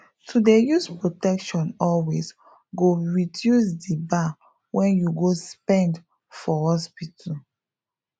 to dey use protection always go reduce di bar wen you go spend for hospital